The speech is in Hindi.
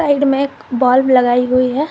साइड में एक बल्ब लगाई हुई है।